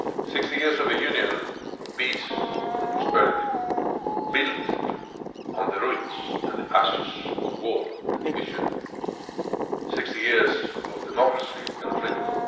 60 years of a Union of peace and prosperity, built on the ruins and ashes of war and division, 60 years of democracy and freedom.